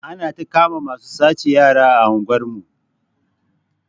Anata kama masu sace yara a unguwar mu